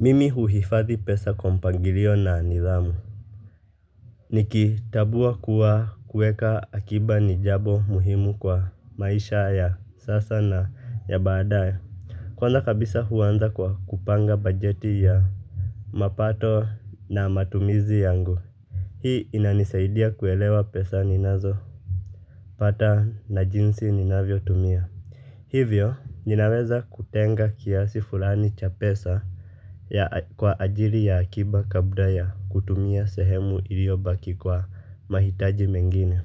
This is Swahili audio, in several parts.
Mimi huhifadhi pesa kwa mpangilio na nidhamu. Nikitambua kuwa kuweka akiba ni jambo muhimu kwa maisha ya sasa na ya baadae. Kwanza kabisa, huanza kwa kupanga bajeti ya mapato na matumizi yangu. Hii inanisaidia kuelewa pesa ninazo pata na jinsi ninavyo tumia. Hivyo, ninaweza kutenga kiasi fulani cha pesa kwa ajiri ya akiba kabla ya kutumia sehemu iliobaki kwa mahitaji mengine.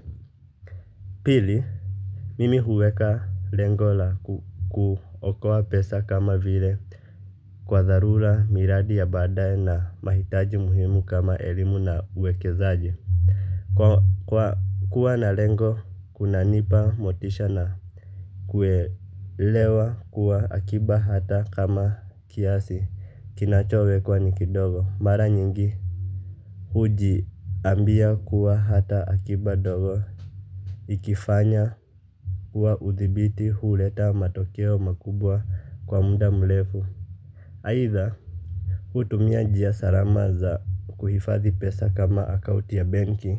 Pili, mimi huweka lengo la kuokoa pesa kama vile kwa dharula miradi ya badae na mahitaji muhimu kama elimu na uwekezaji. Kwa kuwa na lengo kuna nipa motisha na kuelewa kuwa akiba hata kama kiasi kinachowekwa nikidogo mara nyingi, hujiambia kuwa hata akiba dogo ikifanywa kwa uthibiti huleta matokeo makubwa kwa muda mrefu aidha hutumia njia salama za kuhifadhi pesa kama akautia benki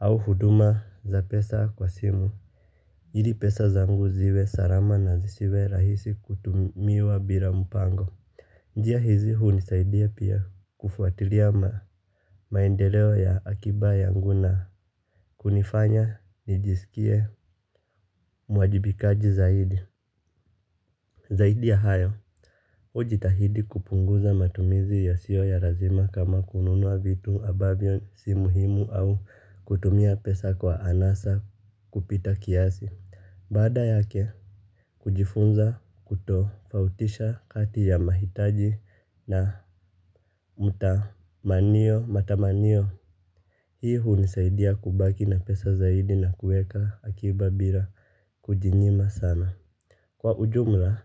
au huduma za pesa kwa simu, ili pesa zangu ziwe salama na zisiwe rahisi kutumiwa bila mpango. Njia hizi hunisaidia pia kufuatilia maendeleo ya akiba yangu na kunifanya nijisikie mwajibikaji zaidi. Zaidi ya hayo, hujitahidi kupunguza matumizi yasio ya pazima kama kununua vitu ambavyo sio muhimu au kutumia pesa kwa anasa kupita kiasi. Baada yake kujifunza kutofautisha kati ya mahitaji na matamanio. Hii hunisaidia kubaki na pesa zaidi na kuweka akiba bila kujinyima sana. Kwa ujumla,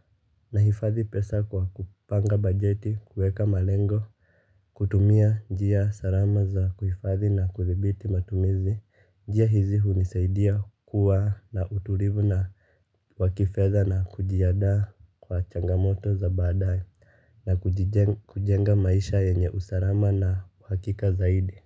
nahifadhi pesa kwa kupanga bajeti kuweka malengo. Kutumia njia salama za kuhifadhi na kuthibiti matumizi. Njia hizi hunisaidia kuwa na utulivu wakifedha na kujiandaa kwa changamoto za baadae na kujijenga kujenga maisha yenye usalama na uhakika zaidi.